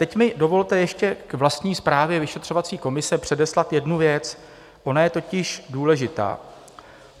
Teď mi dovolte ještě k vlastní zprávě vyšetřovací komise předeslat jednu věc, ona je totiž důležitá.